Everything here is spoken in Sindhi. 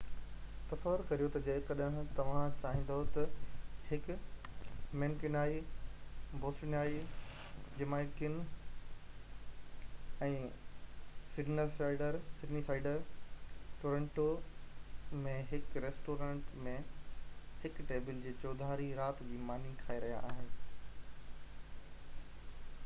تصور ڪريو ته جيڪڏهن توهان چاهيندو ته هڪ مينڪيونيائي بوسٽونيائي جمائيڪن ۽ سڊنيسائيڊر ٽورونٽو ۾ هڪ ريسٽورينٽ ۾ هڪ ٽيبل جي چوڌاري رات جي ماني کائي رهيا آهن